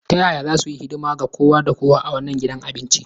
Ta yaya za su yi hidima ga kowa da kowa a wannan gidan abincin?